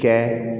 Kɛ